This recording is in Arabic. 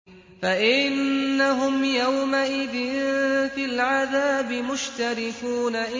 فَإِنَّهُمْ يَوْمَئِذٍ فِي الْعَذَابِ مُشْتَرِكُونَ